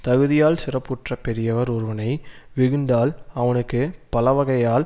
தகுதியால் சிறப்புற்ற பெரியவர் ஒருவனை வெகுண்டால் அவனுக்கு பலவகையால்